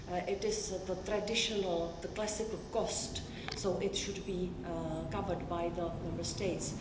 it is the traditional, the classical cost, so it should be covered by the Member States.